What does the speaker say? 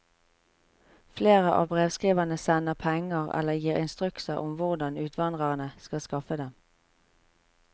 Flere av brevskriverne sender penger eller gir instrukser om hvordan utvandrerne skal skaffe dem.